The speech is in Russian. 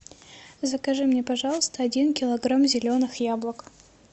закажи мне пожалуйста один килограмм зеленых яблок